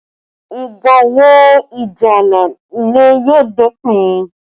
Ìgbà wo ìjà ààlà ilẹ̀ yóò dópin?